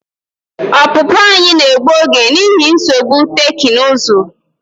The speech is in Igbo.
Ọpụpụ anyị na-egbu oge n'ihi nsogbu teknụzụ.